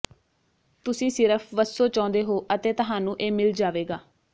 ਤੁਸੀਂ ਸਿਰਫ ਵੱਸੋ ਚਾਹੁੰਦੇ ਹੋ ਅਤੇ ਤੁਹਾਨੂੰ ਇਹ ਮਿਲ ਜਾਵੇਗਾ